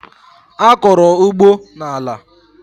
A kọrọ ugbo n'ala.